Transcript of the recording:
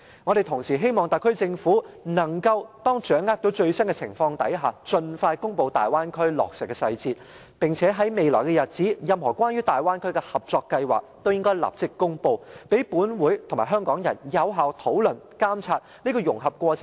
我們同時希望特區政府，當掌握到最新的情況時，盡快公布大灣區計劃的落實細節；並且在未來日子裏，在得知任何關於大灣區的合作計劃後，都立即公布，讓本會和香港人有效討論及監察這個融合過程，對香港的利和弊。